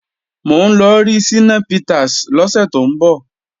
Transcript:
Mò ń lọ rí Ṣínà Peters lọ́sẹ̀ tó ń bọ̀